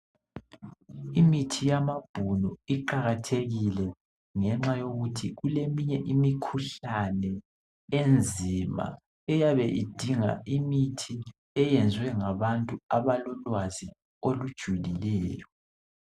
Imithi yamabhunu iqakathekile ngenxa yokuthi kule minye imikhuhlane enzima, eyabe idinga imithi eyenziwe ngabantu abalolwazi olujulileyo.